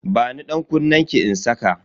Bani dankunnenki in saka